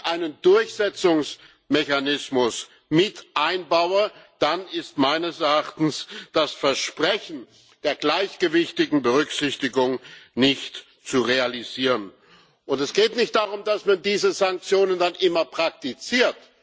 Wenn ich nicht einen Durchsetzungsmechanismus mit einbaue, dann ist meines Erachtens das Versprechen der gleichgewichtigen Berücksichtigung nicht zu realisieren, und es geht nicht darum, dass man diese Sanktionen dann immer praktiziert.